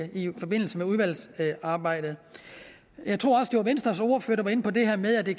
i forbindelse med udvalgsarbejdet jeg tror også at det var venstres ordfører der var inde på det her med at det